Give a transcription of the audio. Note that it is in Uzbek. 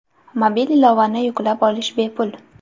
Mobil ilovani yuklab olish bepul.